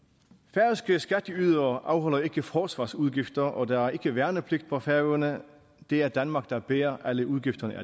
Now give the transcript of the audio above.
færøske skatteydere afholder ikke forsvarsudgifter og der er ikke værnepligt på færøerne det er danmark der bærer alle udgifterne